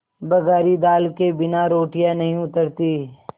बघारी दाल के बिना रोटियाँ नहीं उतरतीं